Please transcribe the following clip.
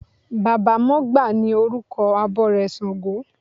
Baba mọgbà ni orúkọ abọrẹ̀ ṣàngó.